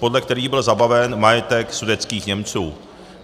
podle kterých byl zabaven majetek sudetských Němců.